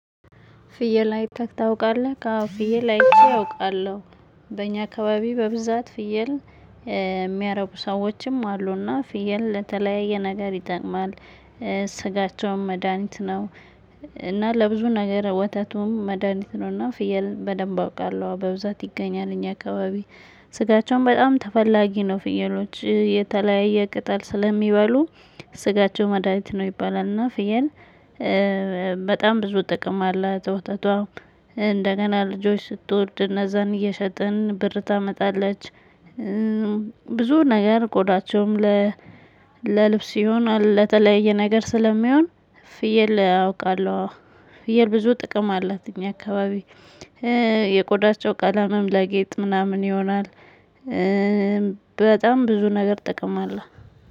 ፍየል አይተህ ታውቃለክ አወ ፍየል አይቼ አውቃለሁ። በእኛ አካባቢ በብዛት ፍየል የሚያረቡ ሰዎችም አሉና ፍየል ለተለያየ ነገር ይጠቅማል። ስጋቸውም መድሃኒት ነው። እና ለብዙ ነገር ወተቱም መድሃኒት ነው። እና ፍየል በደንብ አውቃለሁ በብዛት ይገኛል እኛ አካባቢ። ስጋቸውን በጣም ተፈላጊ ነው ፍየሎች የተለያየ ቅጠል ስለሚበሉ ስጋቸው መድሃኒት ነው ይባላል። እና ፍየል በጣም ብዙ ጥቅም አለ። ዘ ወተቷም እንደገና ልጆች ስትወልድ እነዛን እየሸጥን ብር ታመጣለች። ብዙ ነገር ቆዳቸውም ለልብስ ይሁን ለተለያየ ነገር ስለሚሆን። ፍየል አውቃለሁ። ፍየል ብዙ ጥቅም አላት። እኛ አካባቢ የቆዳቸው ቀለምም ለጌጥ ምናምን ይሆናል። በጣም ብዙ ነገር ጥቅም አለ።